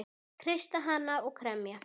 Kreista hana og kremja.